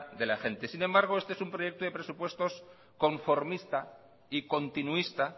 de la gente sin embargo este es un proyecto de presupuestos conformista y continuista